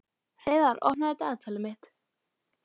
Hreiðar, opnaðu dagatalið mitt.